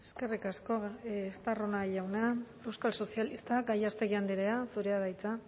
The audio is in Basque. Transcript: eskerrik asko estarrona jauna euskal sozialistak gallástegui andrea zurea da hitza